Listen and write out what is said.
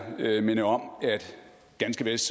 jeg minde om at ganske vist